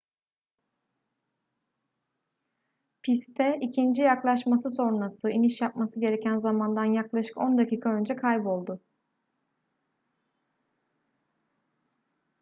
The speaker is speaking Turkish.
piste ikinci yaklaşması sonrası iniş yapması gereken zamandan yaklaşık on dakika önce kayboldu